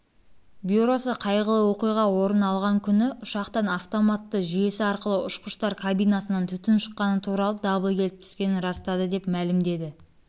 бюросы қайғылы оқиға орын алғаны күні ұшақтан автоматты жүйесі арқылы ұшқыштар кабинасынан түтін шыққаны туралы дабыл келіп түскенін растады деп мәлім